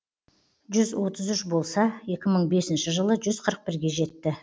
жүз отыз үш болса екі мың бесінші жылы жүз қырық бірге жетті